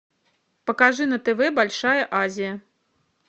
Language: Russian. покажи на тв большая азия